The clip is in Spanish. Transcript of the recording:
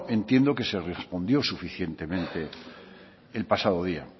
entiendo que se respondió suficientemente el pasado día